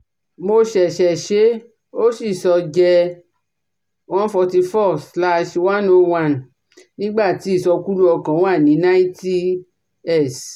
Mo ṣẹṣẹ ṣe e, ó sì sọ jẹ́ one forty four slash one oh one nígbà tí ìsọkúlú ọkàn wà ní ninety s